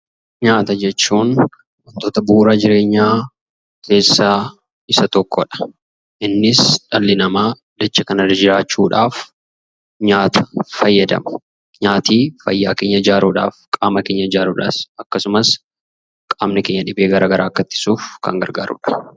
Nyaata jechuun kutata bu'uura jireenyaa keessaa isa tokkodha. Innis dhalli namaa dachee kanarra jiraachuudhaaf nyaata fayyadama. Nyaati fayyaa keenya ijaaruudhaaf, qaama keenya ijaaruudhaaf akkasumas qaamni keenya dhibee garaa garaa akka ittisuuf kan gargaarudha.